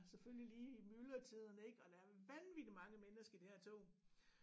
Selvfølgelig lige i myldretiden ik og der er vanvittig mange mennesker i det her tog